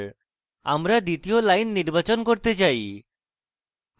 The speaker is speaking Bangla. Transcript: আমরা দ্বিতীয় line নির্বাচন করতে চাই